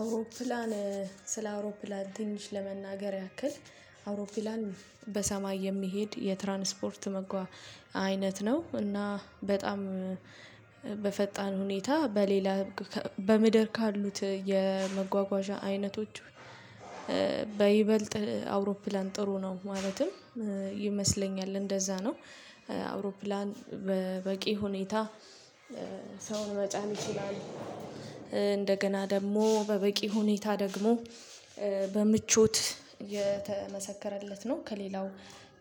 አውሮፕላን ስለ አውሮፕላን ተንሽ ለመናገር ያክል አውሮፕላን በሰማይ የሚሄድ የትራንስፖርት መጓ አይነት ነው እና በጣም በፈጣን ሁኔታ በሌላ በምድር ካሉት የመጓጓዣ አይነቶች። በይበልጥ አውሮፕላን ጥሩ ነው ማለትም ይመስለኛል እንደዛ ነው። አውሮፕላን በበቂ ሁኔታ ሰውን መጫን ይችላል። እንደገና ደግሞ በበቂ ሁኔታ ደግሞ በምቾት የተመሰከረለት ነው። ከሌላው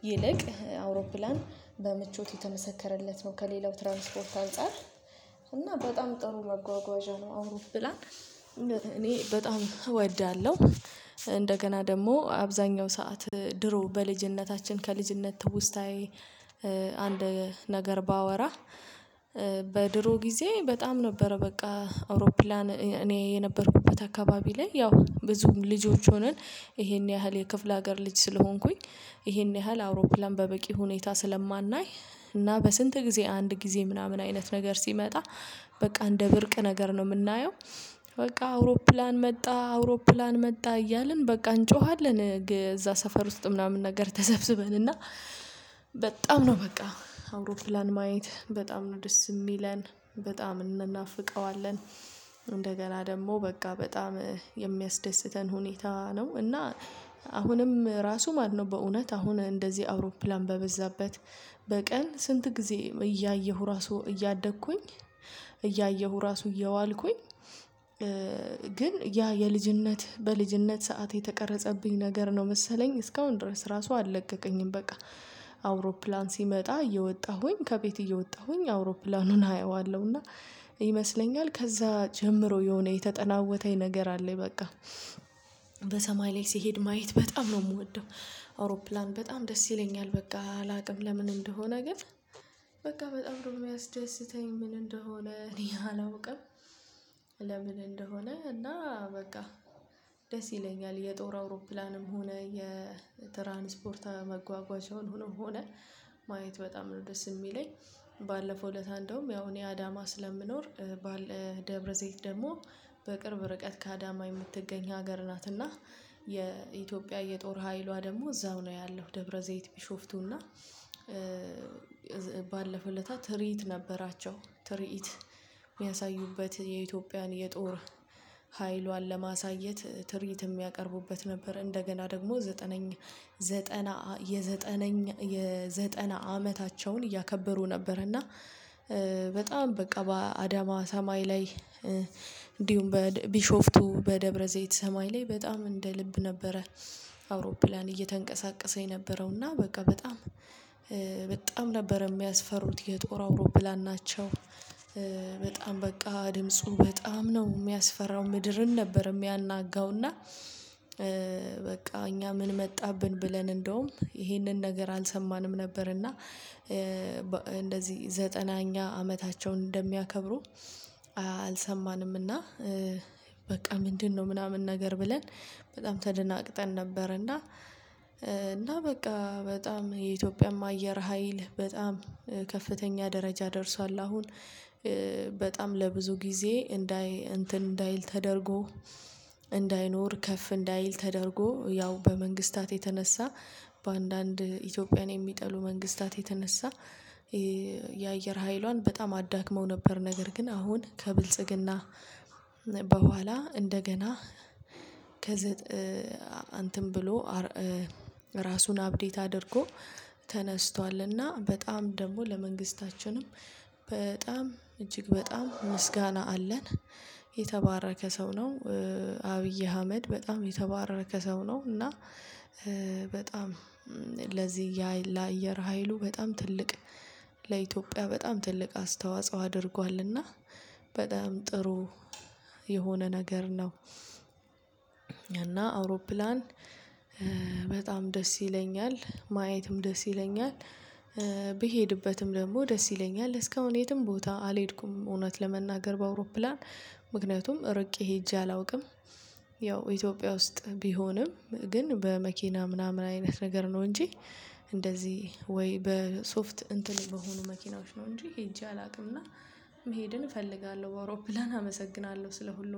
ይልቅ አውሮፕላን በምቾት የተመሰከረለት ነው ከሌላው ትራንስፖርት አንፃር እና በጣም ጥሩ መጓጓዣ ነው። አውሮኘላን እኔ በጣም እወዳለሁ። እንደገና ደግሞ አብዛኛው ሰዓት ድሮ በልጅነታችን ከልጅነት ትውስታዬ አንድ ነገር ባወራ። በድሮ ጊዜ በጣም ነበረ በቃ አውሮፕላን እኔ የነበርኩበት አካባቢ ላይ ያው ብዙ ልጆች ሆነን። ይሄን ያህል የክፍለ ሀገር ልጅ ስለሆንኩኝ ይሄን ያህል አውሮፕላን በበቂ ሁኔታ ስለማናይ እና በስንት ጊዜ አንድ ጊዜ ምናምን አይነት ነገር ሲመጣ በቃ እንደ ብርቅ ነገር ነው የምናየው። በቃ አውሮፕላን መጣ አውሮፕላን መጣ እያልን በቃ እንጮሃለን እዛ ሰፈር ውስጥ ምናምን ነገር ተሰብስበን እና በጣም ነው በቃ አውሮፕላን ማየት በጣም ነው ደስ የሚለን በጣም እንናፍቀዋለን። እንደገና ደግሞ በቃ በጣም የሚያስደስተን ሁኔታ ነው። እና አሁንም ራሱ ማነው በእውነት አሁን እንደዚህ አውሮፕላን በበዛበት በቀን ስንት ጊዜ እያየሁ ራሱ እያደግኩኝ። እያየሁ ራሱ እየዋልኩኝ። ግን ያ የልጅነት በልጅነት ሰዓት የተቀረጸብኝ ነገር ነው መሰለኝ እስካሁን ድረስ ራሱ አልለቀቀኝም። በቃ አውሮፕላን ሲመጣ እየወጣሁኝ ከቤት እየወጣሁኝ አውሮፕላኑን አየዋለሁና ይመስለኛል ከዛ ጀምሮ የሆነ የተጠናወተኝ ነገር አለኝ በቃ። በሰማይ ላይ ሲሄድ ማየት በጣም ነው የምወደው። አውሮፕላን በጣም ደስ ይለኛል። በቃ አላውቅም ለምን እንደሆነ ግን በቃ በጣም ደግሞ የሚያስደስተኝ ምን እንደሆነ እኔ አላውቅም። ለምን እንደሆነ እና በቃ ደስ ይለኛል። የጦር አውሮፕላንም ሆነ የትራንስፖርት መጓጓዣውንም ሆነ ማየት በጣም ነው ደስ የሚለኝ። ባለፈው ለታ እንደውም ያው እኔ አዳማ ስለምኖር። ደብረ ዘይት ደግሞ በቅርብ ርቀት ከአዳማ የምትገኝ ሀገር ናትና የኢትዮጵያ የጦር ኃይሏ ደግሞ እዛው ነው ያለው ደብረ ዘይት ቢሾፍቱና። ባለፈው ለታ ትርኢት ነበራቸው ትርኢት የሚያሳዩበት የኢትዮጵያን የጦር ኃይሏን ለማሳየት ትርኢት የሚያቀርቡበት ነበር። እንደገና ደግሞ ዘጠነኛ ዘጠና የዘጠነኛ የዘጠና አመታቸውን እያከበሩ ነበር። እና በጣም በቃ በአዳማ ሰማይ ላይ እንዲሁም ቢሾፍቱ በደብረዘይት ሰማይ ላይ በጣም እንደ ልብ ነበረ። አውሮፕላን እየተንቀሳቀሰ የነበረውና በቃ በጣም በጣም ነበር የሚያስፈሩት የጦር አውሮፕላን ናቸው። በጣም በቃ ድምፁ በጣም ነው የሚያስፈራው ምድርን ነበር የሚያናጋው እና። በቃ እኛ ምን መጣብን ብለን እንደውም ይሄንን ነገር አልሰማንም ነበር እና። እንደዚህ ዘጠናኛ አመታቸውን እንደሚያከብሩ አልሰማንምና። በቃ ምንድነው ምናምን ነገር ብለን በጣም ተደናግጠን ነበር እና። እና በቃ በጣም የኢትዮጵያማ አየር ሀይል በጣም ከፍተኛ ደረጃ ደርሷል አሁን። በጣም ለብዙ ጊዜ እንዳይ እንትን እንዳይል ተደርጎ እንዳይኖር ከፍ እንዳይል ተደርጎ ያው በመንግስታት የተነሳ በአንዳንድ ኢትዮጵያን የሚጠሉ መንግስታት የተነሳ። የአየር ኃይሏን በጣም አዳክመው ነበር ነገር ግን አሁን ከብልጽግና። በኋላ እንደገና ከዘጠኝ እንትን ብሎ ራሱን አፕዴት አድርጎ ተነስቷልና። በጣም ደግሞ ለመንግስታችንም በጣም እጅግ በጣም ምስጋና አለን። የተባረከ ሰው ነው። አብይ አህመድ በጣም የተባረከ ሰው ነው እና። በጣም ለዚህ ያ ለአየር ሀይሉ በጣም ትልቅ ለኢትዮጵያ በጣም ትልቅ አስተዋጽኦ አድርጓልና። በጣም ጥሩ የሆነ ነገር ነው። እና አውሮፕላን በጣም ደስ ይለኛል። ማየትም ደስ ይለኛል። ብሄድበትም ደግሞ ደስ ይለኛል እስከ አሁን የትም ቦታ አልሄድኩም እውነት ለመናገር በአውሮፕላን ምክንያቱም ርቄ ሄጄ አላውቅም። ያው ኢትዮጵያ ውስጥ ቢሆንም ግን በመኪና ምናምን አይነት ነገር ነው እንጂ እንደዚህ ወይ በሶፍት እንትን በሆኑ መኪናዎች ነው እንጂ ሄጄ አላውቅምና። መሄድን እፈልጋለሁ በአውሮፕላን አመሰግናለሁ ስለ ሁሉም